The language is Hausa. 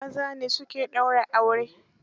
Maza ne su ke daura aure.